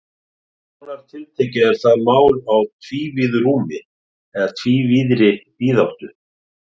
Nánar tiltekið er það mál á tvívíðu rúmi eða tvívíðri víðáttu.